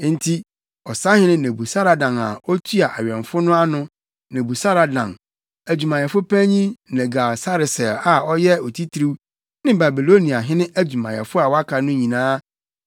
Enti ɔsahene Nebusaradan a otua awɛmfo no ano, Nebusaradan, adwumayɛfo panyin, Nergal-Sareser a ɔyɛ otitiriw ne Babiloniahene adwumayɛfo a wɔaka no nyinaa